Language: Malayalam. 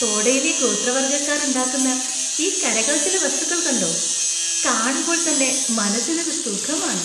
തോഡയിലെ ഗോത്രവർഗ്ഗക്കാർ ഉണ്ടാക്കുന്ന ഈ കരകൗശല വസ്തുക്കൾ കണ്ടോ? കാണുമ്പോൾ തന്നെ മനസ്സിനൊരു സുഖം ആണ്.